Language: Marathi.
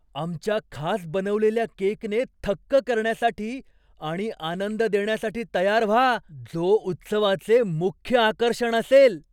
आमच्या खास बनवलेल्या केकने थक्क करण्यासाठी आणि आनंद देण्यासाठी तयार व्हा, जो उत्सवाचे मुख्य आकर्षण असेल.